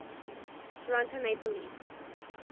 toronto maple leafs